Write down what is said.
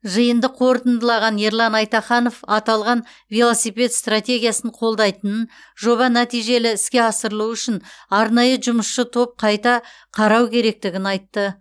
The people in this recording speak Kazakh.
жиынды қорытындылаған ерлан айтаханов аталған велосипед стратегиясын қолдайтынын жоба нәтижелі іске асырылу үшін арнайы жұмысшы топ қайта қарау керектігін айтты